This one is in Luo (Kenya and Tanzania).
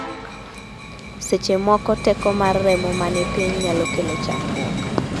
seche moko teko mar remo ma ni piny nyalo kelo chandruok